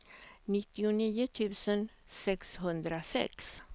nittionio tusen sexhundrasex